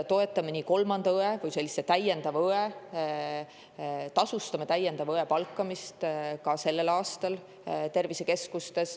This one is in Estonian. Tasustame kolmanda õe ehk täiendava õe palkamist tervisekeskustes ka sellel aastal.